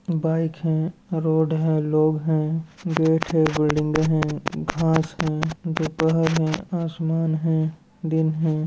Bike है road है लोग है गेट है बिल्डिंग है घास है दोपहर है आसमान है दिन है।